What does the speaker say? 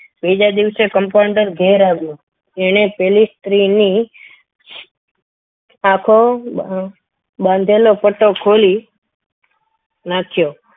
બીજા દિવસે compounder ઘેર આવ્યો તેણે પેલી સ્ત્રી ની આંખો બાંધેલો પટ્ટો ખોલી નાખ્યો